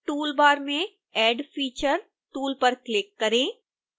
toolbar में add feature tool पर click करें